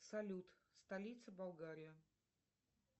салют столица болгария